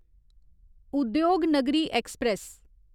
Udyognagari express